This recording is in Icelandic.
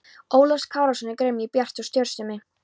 Ólafs Kárasonar og gremju Bjarts og stjórnsemi.